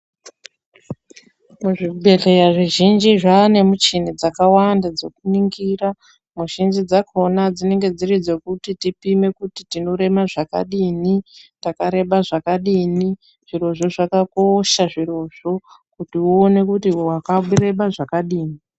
Zvibhedhlera zvizhinji zvane muchini dzakawanda dzekuningira muzhinji dzakona dzinenge dziri dzekuti tipime kuti kuti tinorema zvakadini takareba zvakadini zvirozvo zvakakosha zvirozvo kuti uone kuti wakareba zvakadini.